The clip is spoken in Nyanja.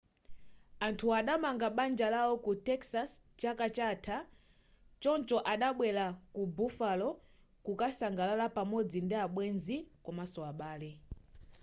anthuwa adamanga banja lawo ku texas chaka chatha choncho adabwera ku buffalo kukasangalala pamodzi ndi abwenzi komanso abale